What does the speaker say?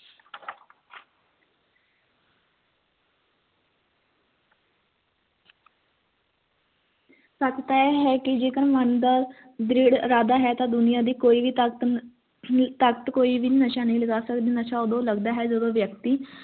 ਸੱਚ ਤਾਂ ਇਹ ਹੈ ਕਿ ਜੇਕਰ ਮਨ ਦਾ ਜੇ ਇਰਾਦਾ ਹੈ ਤੇ ਦੁਨੀਆਂ ਦੀ ਕੋਈ ਵੀ ਤਾਕਤ ਅਹ ਤਾਕਤ ਕੋਈ ਵੀ ਨਸ਼ਾ ਨਹੀਂ ਲਗਾ ਸਕਦੀ ਨਸ਼ਾ ਤੇ ਉਦੋਂ ਲੱਗਦਾ ਹੈ ਜਦੋਂ ਵਿਅਕਤੀ